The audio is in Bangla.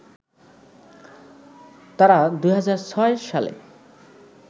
তারা ২০০৬ সালে